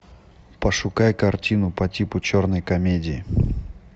пошукай картину по типу черной комедии